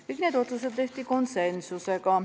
Kõik need otsused tehti konsensusega.